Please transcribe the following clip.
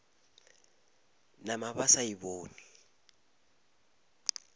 nama ba sa e bone